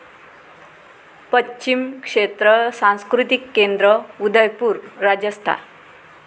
पश्चिम क्षेत्र सांस्कृतिक केंद्र, उदयपूर, राजस्थान